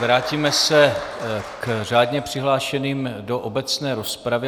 Vrátíme se k řádně přihlášeným do obecné rozpravy.